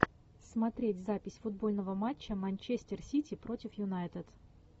смотреть запись футбольного матча манчестер сити против юнайтед